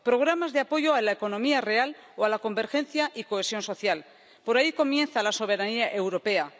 programas de apoyo a la economía real o a la convergencia y cohesión social. Por ahí comienza la soberanía europea.